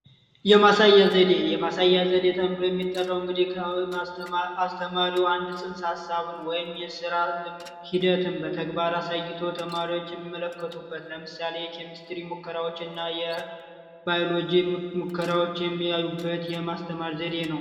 የማሳያ ዘዴ የማሳያ ዘዴ ተብሎ የሚጠራው እንግዲህ አስተማሪው አንድ ጽንሰ ሀሳብን የስራ ልምድ ወይም በተግባር አሳይቶ ተማሪዎች የሚመለከቱበት ለምሳሌ የኬሚስትሪ ሙከራዎችና የባዮሎጂ ሙከራዎች የሚያሳዩበት የማስተማር ዘዴ ነው።